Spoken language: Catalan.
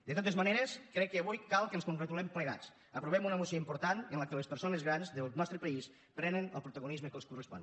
de totes maneres crec que avui cal que ens congratulem plegats aprovem una moció important en què les persones grans del nostre país prenen el protagonisme que els correspon